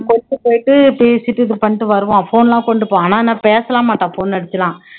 கொண்டு போய்ட்டு பேசிட்டு இது பண்ணிட்டு வருவான் phone லாம் கொண்டு போலாம், ஆனா என்ன பேச எல்லாம் மாட்டான் phone அடிச்சுல்லாம்